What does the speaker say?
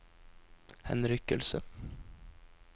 henrykkelse